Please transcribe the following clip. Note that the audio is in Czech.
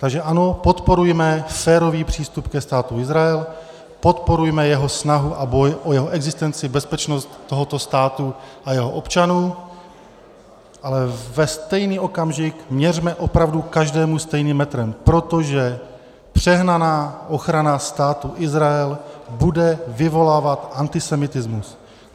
Takže ano, podporujme férový přístup ke Státu Izrael, podporujme jeho snahu a boj o jeho existenci, bezpečnost tohoto státu a jeho občanů, ale ve stejný okamžik měřme opravdu každému stejným metrem, protože přehnaná ochrana Státu Izrael bude vyvolávat antisemitismus.